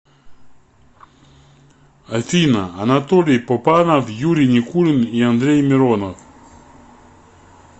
афина анатолий попанов юрий никулин и андрей миронов